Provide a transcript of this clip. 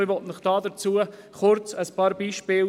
Ich erwähne dazu ein paar Beispiele: